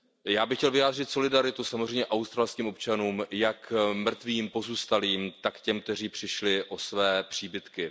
Já bych chtěl vyjádřit solidaritu samozřejmě australským občanům jak mrtvým, pozůstalým, tak i těm, kteří přišli o své příbytky.